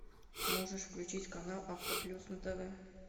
можешь включить канал авто плюс на тв